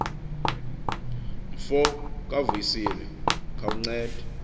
mfo kavuyisile khawunced